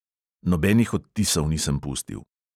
Nobenih odtisov nisem pustil.